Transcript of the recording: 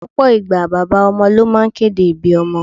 Lọpọ ìgbà, bàbá ọmọ ló máa ń kéde ibí ọmọ.